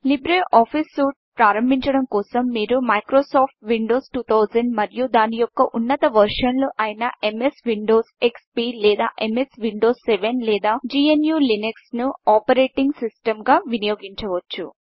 Libre office సూట్ను ప్రారంభించడం కోసం మీరు మైక్రోసాఫ్ట్ విండోస్ 2000 మరియు దాని యొక్క ఉన్నత వెర్షన్లు అయిన ఎంఎస్ విండోస్ ఎక్స్పీ లేదా ఎంఎస్ విండోస్ 7 లేదా జిఎన్యులీనక్స్ ను ఆపరేటింగ్ సిస్టమ్గా వినియోగించవచ్చు